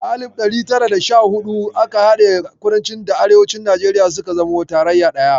A alif ɗari tara da sha hudu aka haɗe kudanci da Arewacin Najeriya suka zama tarayya ɗaya